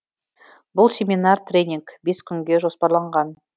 бұл семинар тренинг бес күнге жоспарланған